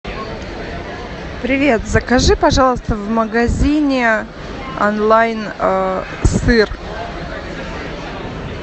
привет закажи пожалуйста в магазине онлайн сыр